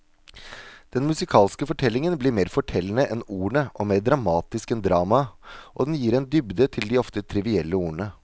Den musikalske fortellingen blir mer fortellende enn ordene og mer dramatisk enn dramaet, og den gir en dybde til de ofte trivielle ordene.